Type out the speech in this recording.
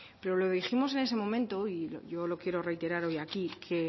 pero lo dijimos en ese momento y yo lo quiero reiterar hoy aquí que